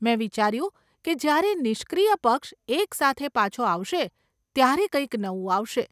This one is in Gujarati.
મેં વિચાર્યું કે જ્યારે નિષ્ક્રિય પક્ષ એક સાથે પાછો આવશે ત્યારે કંઈક નવું આવશે...